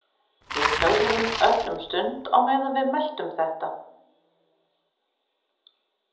Við þögðum öll um stund á meðan við meltum þetta.